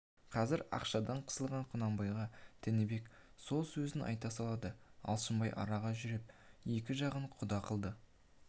қазір ақшадан қысылған құнанбайға тінібек сол сөзін қайта салды алшынбай араға жүріп екі жағын құда қылды